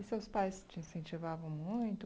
E seus pais te incentivavam muito?